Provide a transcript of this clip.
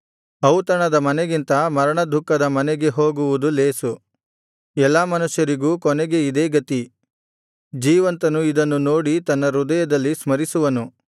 ಔತಣದ ಮನೆಗಿಂತ ಮರಣದುಃಖದ ಮನೆಗೆ ಹೋಗುವುದು ಲೇಸು ಎಲ್ಲಾ ಮನುಷ್ಯರಿಗೂ ಕೊನೆಗೆ ಇದೇ ಗತಿ ಜೀವಂತನು ಇದನ್ನು ನೋಡಿ ತನ್ನ ಹೃದಯದಲ್ಲಿ ಸ್ಮರಿಸುವನು